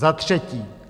Za třetí.